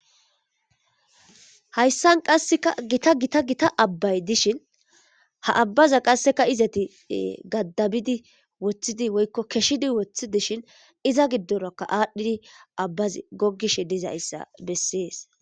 Hayssan qasseka gita gita gita abbay dishin ha abbaza qasseka izati gaddabidi woththidi woykko keshshidi woththi dishin iza giddorokka aadhdhidi abbaz gogish dizayssa bessees.